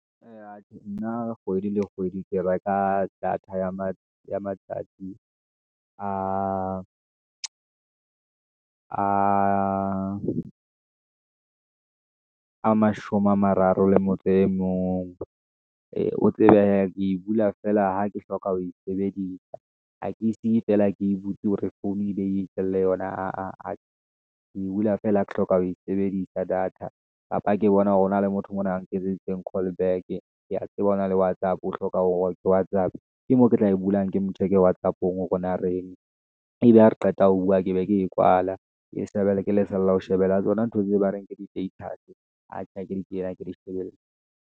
Eya atjhe nna kgwedi le kgwedi ke ba ka data ya ma matsatsi a mashome a mararo le motse e mong, o tsebe hee ke e bula feela ha ke hloka ho e sebedisa ha ke siye tsela ke e butse hore founu e be e itjelle yona. Ke bula feela ha ke hloka ho e sebedisa data, kapa ke bona hore ho na le motho mona a nketseditseng callback-e. Ke a tseba o na le Whatsapp, o hloka ke Whatsapp, ke moo ke tla e bulang ke mo check-e Whatsapp-ong hore na reng, ebe ha re qeta ho bua ke beke e kwala. Ke ke lesela ho shebella tsona ntho tse ba reng ke di-status, atjhe ha ke di kene ha ke di shebelle.